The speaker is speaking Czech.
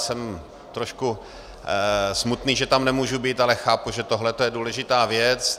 Jsem trošku smutný, že tam nemůžu být, ale chápu, že tohle je důležitá věc.